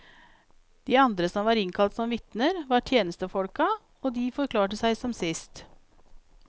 De andre som var innkalt som vitner, var tjenestefolka, og de forklarte seg som sist.